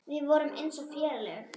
Við vorum eins og félag.